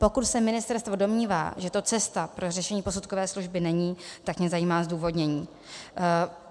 Pokud se ministerstvo domnívá, že to cesta pro řešení posudkové služby není, tak mě zajímá zdůvodnění.